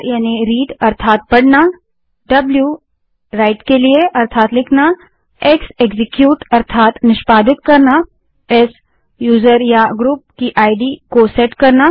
r read अर्थात पढ़ना w write अर्थात लिखना x एक्जीक्यूट अर्थात निष्पादित करना s यूजर या ग्रुप की इद को सेट करना